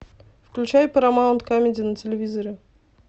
включай парамаунт камеди на телевизоре